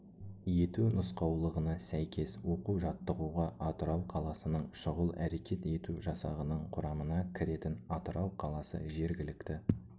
ету нұсқаулығына сәйкес оқу-жаттығуға атырау қаласының шұғыл әрекет ету жасағының құрамына кіретін атырау қаласы жергілікті